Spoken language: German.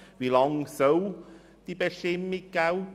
Wie lange soll diese Bestimmung gelten?